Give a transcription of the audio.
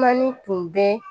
Manin tun bɛ